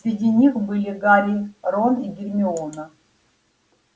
среди них были гарри рон и гермиона